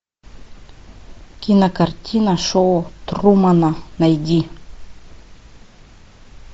кинокартина шоу трумана найди